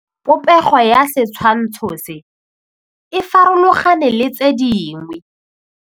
Popêgo ya setshwantshô se, e farologane le tse dingwe.